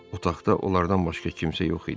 Otaqda onlardan başqa kimsə yox idi.